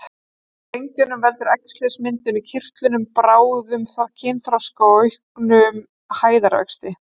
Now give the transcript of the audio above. Hjá drengjum veldur æxlismyndun í kirtlinum bráðum kynþroska og auknum hæðarvexti.